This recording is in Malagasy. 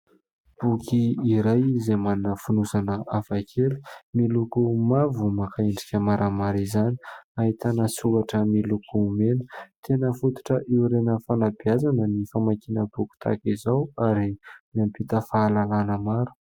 Boky iray izay manana fonosana hafakely. Miloko mavo maka endrika maramara izany. Ahitana soratra miloko mena. Tena fototra iorenan'ny fanabeazana ny famakiana boky tahaka izao ary mampita fahalalana maro.